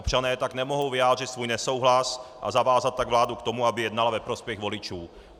Občané tak nemohou vyjádřit svůj nesouhlas, a zavázat tak vládu k tomu, aby jednala ve prospěch voličů.